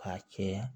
K'a cɛya